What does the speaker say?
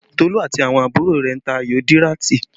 Tolu àti àwọn àbúrò rẹ̀ ń ta ayò díràtì